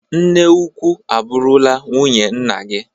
Nne ukwu abụrụla nwunye nna gi.